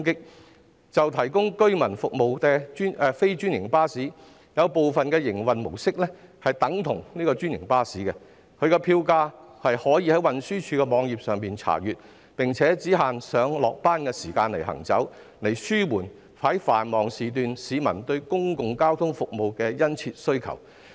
以向居民提供服務的非專營巴士為例，有部分營運模式等同專營巴士，票價可以在運輸署網頁查閱，並且只限上下班時間行駛，以紓緩繁忙時段市民對公共交通服務的殷切需求。